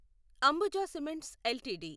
Ambuja cements LTD